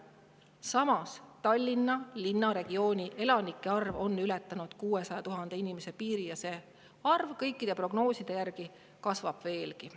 Samas, Tallinna linnaregiooni elanike arv on ületanud 600 000 piiri ja see arv kõikide prognooside järgi kasvab veelgi.